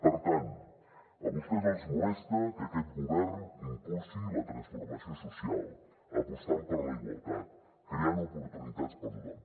per tant a vostès els molesta que aquest govern impulsi la transformació social apostant per la igualtat creant oportunitats per a tothom